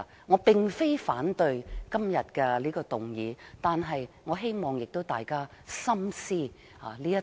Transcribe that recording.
我並非反對今天的議案，但我希望大家深思這套論點。